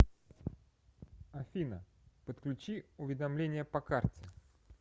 афина подключи уведомления по карте